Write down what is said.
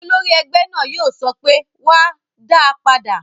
Olórí ẹgbẹ́ náà yóò sọ pé "wá, dáa padà!"